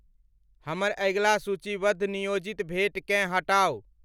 हमर अगिला सूचीवद्ध नियोजित भेँट केँ हटाउ